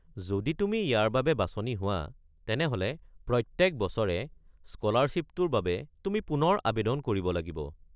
যদি তুমি ইয়াৰ বাবে বাছনি হোৱা, তেনেহ’লে প্ৰত্যেক বছৰে স্ক’লাৰশ্বিপটোৰ বাবে তুমি পুনৰ আৱেদন কৰিব লাগিব।